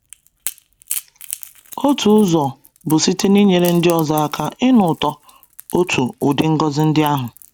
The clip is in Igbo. Otu ụzọ bụ site n’inyere ndị ọzọ aka ịnụ ụtọ otu ụdị ngọzi ndị ahụ.